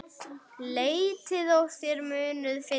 Leitið og þér munuð finna!